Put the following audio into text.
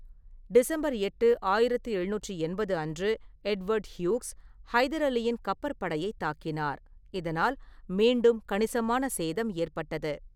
December எட்டு, ஆயிரத்து எழுநூற்று எண்பது அன்று, எட்வர்ட் ஹியூக்ஸ் ஹைதர் அலியின் கப்பற்படையைத் தாக்கினார், இதனால் மீண்டும் கணிசமான சேதம் ஏற்பட்டது.